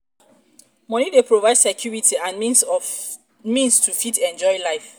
money dey provide security and the means to fit enjoy life